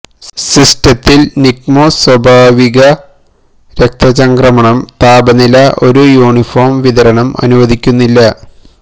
സിസ്റ്റത്തിൽ നിക്മോസ് സ്വാഭാവിക രക്തചംക്രമണം താപനില ഒരു യൂണിഫോം വിതരണം അനുവദിക്കുന്നില്ല